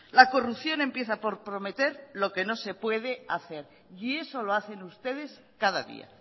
la corrupción empieza por prometer lo que no se puede hacer y eso lo hacen ustedes cada día